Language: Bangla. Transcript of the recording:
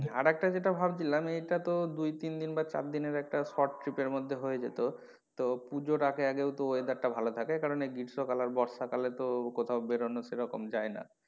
আর একটা যেটা ভাবছিলাম এটা তো দুই তিন দিন বা চার দিনের একটা short trip এর মধ্যে হয়ে যেত তো পুজোর আগে আগেও তো weather টা ভালো থাকে কারন এই গ্রীষ্ম কাল আর বর্ষা কালে তো কোথাও বেরোনো সেরকম যায়না।